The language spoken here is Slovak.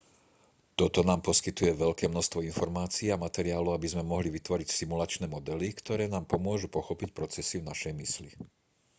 toto nám poskytuje veľké množstvo informácií a materiálu aby sme mohli vytvoriť simulačné modely ktoré nám pomôžu pochopiť procesy v našej mysli